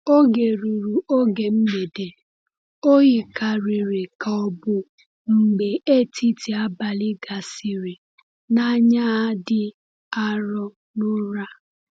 Oge ruru oge mgbede, o yikarịrị ka ọ bụ mgbe etiti abalị gasịrị, na “anya ha dị arọ” n’ụra.